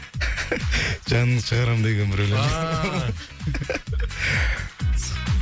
жаныңды шығарам деген бір өлең ааа